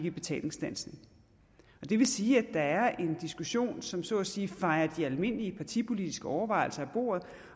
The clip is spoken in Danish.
i betalingsstandsning det vil sige at der er en diskussion som så at sige fejer de almindelige partipolitiske overvejelser af bordet